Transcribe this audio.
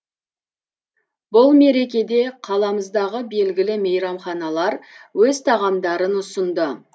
бұл мерекеде қаламыздағы белгілі мейрамханалар өз тағамдарын ұсынды